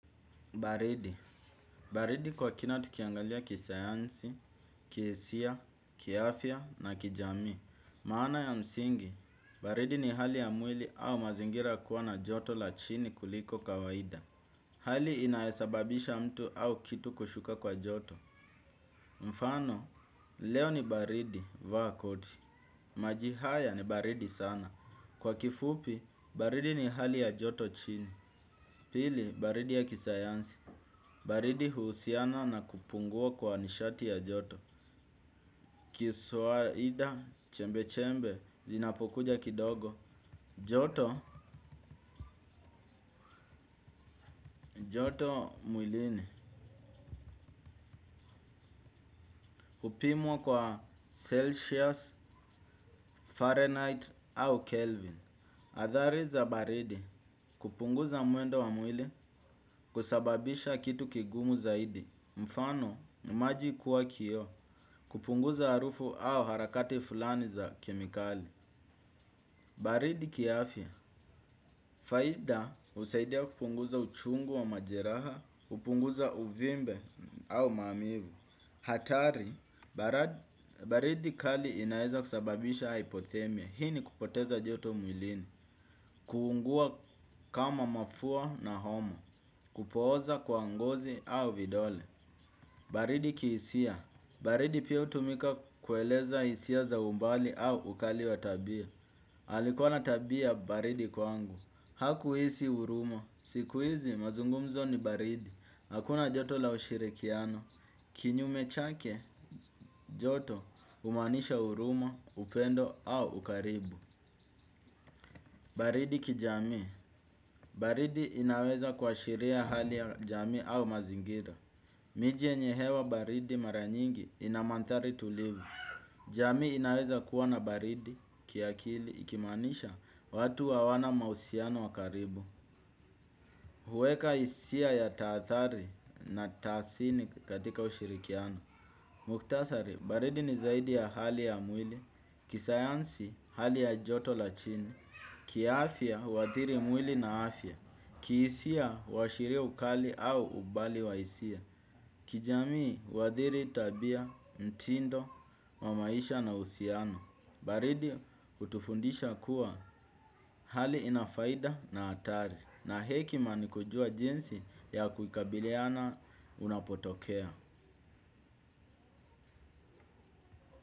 Baridi. Baridi kwa kina tukiangalia kisayansi, kihisia, kiafia na kijamii. Maana ya msingi, baridi ni hali ya mwili au mazingira kuwa na joto la chini kuliko kawaida. Hali inayosababisha mtu au kitu kushuka kwa joto. Mfano, leo ni baridi vaa koti. Maji haya ni baridi sana. Kwa kifupi, baridi ni hali ya joto chini. Pili, baridi ya kisayansi. Baridi huusiana na kupungua kwa nishati ya joto. Kiswaida, chembe-chembe, zinapokuja kidogo. Joto, joto mwilini hupimwa kwa Celsius, Fahrenheit, au Kelvin. Athari za baridi, kupunguza muendo wa mwili, kusababisha kitu kigumu zaidi. Mfano, maji kuwa kio, kupunguza harufu au harakati fulani za kemikali. Baridi kiafya faida, husaidia kupunguza uchungu wa majeraha, kupunguza uvimbe au maumivu. Hatari, baridi kali inaweza kusababisha hypothermia. Hii ni kupoteza joto mwilini. Kuungua kama mafua na homa. Kupooza kwa ngozi au vidole. Baridi kiisia. Baridi pia hutumika kueleza hisia za umbali au ukali wa tabia. Alikuwa na tabia baridi kwangu. Hakuhisi huruma, siku hizi mazungumzo ni baridi. Hakuna joto la ushirikiano. Kinyume chake. Joto humaanisha huruma, upendo au ukaribu. Baridi kijamii, baridi inaweza kuashiria hali ya jamii au mazingira. Mije yenye hewa baridi mara nyingi ina mandhari tulivu. Jamii inaweza kuwa na baridi kiakili. Ikimaanisha watu hawana mahusiano wakaribu. Huweka hisia ya taathari na taasini katika ushirikiano. Muktasari, baridi ni zaidi ya hali ya mwili. Kisayansi hali ya joto la chini. Kiaafya huathiri mwili na afya. Kihisia huashiria ukali au ubali wa hisia. Kijamii uathiri tabia, mtindo, wa maisha na uhusiano. Baridi hutufundisha kuwa hali inafaida na hatari. Na hekima nikujua jinsi ya kukabiliana unapotokea.